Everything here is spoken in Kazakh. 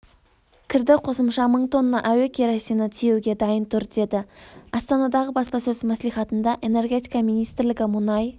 кірді қосымша мың тонна әуекеросині тиеуге дайын тұр деді астанадағы баспасөз мәслихатында энергетика министрлігі мұнай